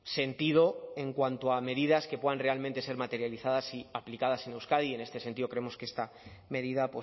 sentido en cuanto a medidas que puedan realmente ser materializadas y aplicadas en euskadi y en este sentido creemos que esta medida